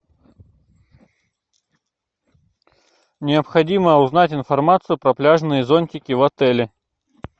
необходимо узнать информацию про пляжные зонтики в отеле